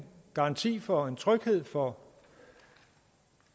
garanti for en tryghed for